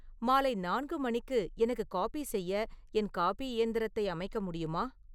மாலை நான்கு மணிக்கு எனக்கு காபி செய்ய என் காபி இயந்திரத்தை அமைக்க முடியுமா